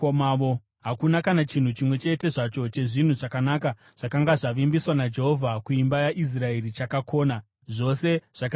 Hakuna kana chinhu chimwe chete zvacho chezvinhu zvakanaka zvakanga zvavimbiswa naJehovha kuimba yaIsraeri chakakona; zvose zvakazadziswa.